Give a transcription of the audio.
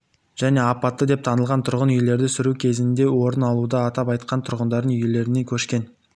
және апатты деп танылған тұрғын үйлерді сүру кезінде орын алуда атап айтқанда тұрғындар үйлерінен көшкен